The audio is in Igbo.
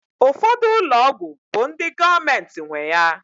Ụfọdụ ụlọ ọgwụ bụ ndị gọọmenti nwe ya